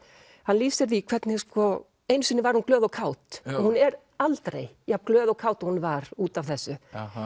hann lýsir því hvernig sko einu sinni var hún glöð og kát hún er aldrei jafn glöð og kát og hún var út af þessu